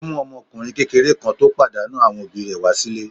Ó mú ọmọkùnrin kékeré kan tó pàdánù àwọn òbí rẹ̀ wá sílé.